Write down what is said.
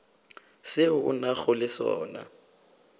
seo a nago le sona